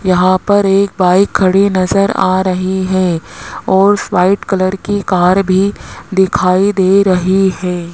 यहां पर एक बाइक खड़ी नजर आ रही है और व्हाइट कलर की कार भी दिखाई दे रही है।